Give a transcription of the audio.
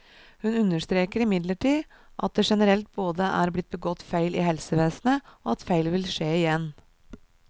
Hun understreker imidlertid at det generelt både er blitt begått feil i helsevesenet, og at feil vil skje igjen.